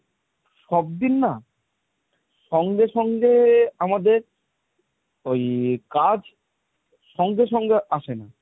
সব দিন না সঙ্গে সঙ্গে আমাদের ওই কাজ সঙ্গে সঙ্গে আসে না।